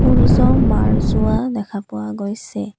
সূৰ্য্য মাৰ যোৱা দেখা পোৱা গৈছে।